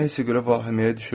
O nəyəsə görə vahiməyə düşüb.